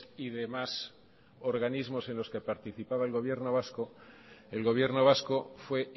y demás organismos en los que participaba el gobierno vasco el gobierno vasco fue